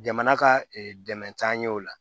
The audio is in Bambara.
Jamana ka dɛmɛ t'an ɲɛ o la